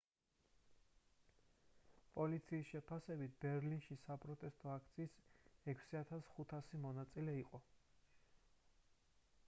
პოლიციის შეფასებით ბერლინში საპროტესტო აქციის 6500 მონაწილე იყო